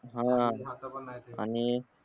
हा आणि